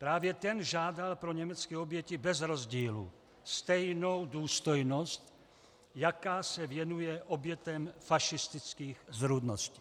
Právě ten žádal pro německé oběti bez rozdílu stejnou důstojnost, jaká se věnuje obětem fašistických zrůdností.